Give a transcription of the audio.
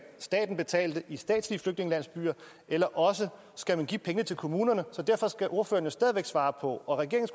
staten betale for det i statslige flygtningelandsbyer eller også skal man give penge til kommunerne derfor skal ordføreren jo stadig væk svare på og regeringen